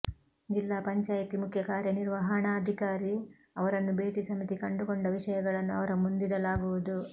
ಜಿಲ್ಲಾ ಪಂಚಾಯಿತಿ ಮುಖ್ಯ ಕಾರ್ಯ ನಿರ್ವಹಣಾಧಿಕಾರಿ ಅವರನ್ನು ಭೇಟಿ ಸಮಿತಿ ಕಂಡುಕೊಂಡ ವಿಷಯಗಳನ್ನು ಅವರ ಮುಂದಿಡಲಾಗುವುದು